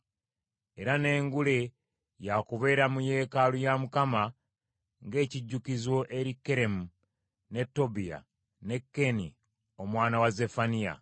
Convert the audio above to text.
Era n’engule ya kubeera mu yeekaalu ya Mukama ng’ekijjukizo eri Keremu, ne Tobiya ne Keeni omwana wa Zeffaniya.